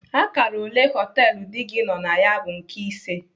Akara ole ụlọ họtelu di gị nọ na ya bụ nke ise.